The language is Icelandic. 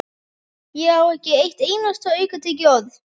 Ég á ekki eitt einasta aukatekið orð!